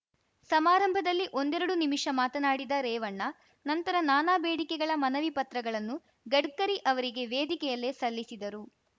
ಸಮಾರಂಭದಲ್ಲಿ ಒಂದೆರಡು ನಿಮಿಷ ಮಾತನಾಡಿದ ರೇವಣ್ಣ ನಂತರ ನಾನಾ ಬೇಡಿಕೆಗಳ ಮನವಿ ಪತ್ರಗಳನ್ನು ಗಡ್ಕರಿ ಅವರಿಗೆ ವೇದಿಕೆಯಲ್ಲೇ ಸಲ್ಲಿಸಿದರು